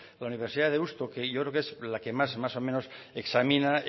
la universidad de deusto que yo creo que es la que más más o menos examina